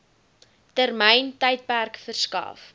termyn tydperk verskaf